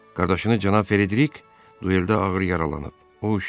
Qardaşınız cənab Frederik dueldə ağır yaralanıb.